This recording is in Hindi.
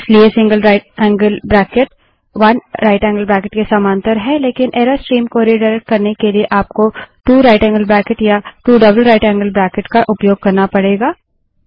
इसलिए gtराइट एंगल्ड ब्रेकेट 1जीटी के समांतर है लेकिन एरर स्ट्रीम को रिडाइरेक्ट करने के लिए आपको 2gtया 2जीटीजीटी का उपयोग करना पड़ेगा